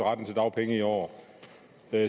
jeg